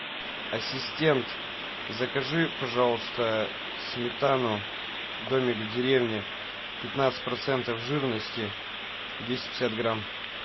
ассистент закажи пожалуйста сметану домик в деревне пятнадцать процентов жирности двести пятьдесят грамм